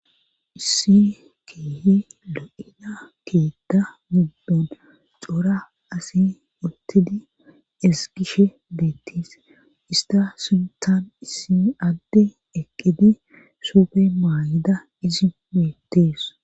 issi keehe lo'iza keetta mubdon cora asi untidi esgishe beettees ista suntan issi adde eqqide suupe maay7ida izi beettees